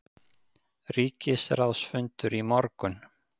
Ríkisráðsfundur í morgun